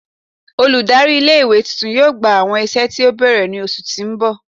Oludari ile iwe tuntun yoo gba awọn iṣẹ ti o bẹrẹ ni oṣu ti n bọ